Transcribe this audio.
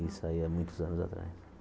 Isso aí há muitos anos atrás.